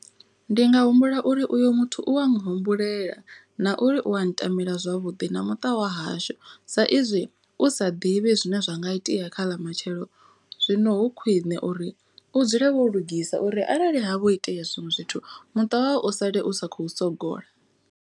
Ndi nga humbula uri uyu muthu u wa n humbulela na uri u a n tamela zwavhuḓi na muṱa wa hashu. Sa izwi u sa ḓivhi zwine zwa nga itea kha ḽamatshelo. Zwino hu khwine uri u dzule wo lugisa uri arali ha vho itea zwiṅwe zwithu muṱa wau u sale u sa khou sogola.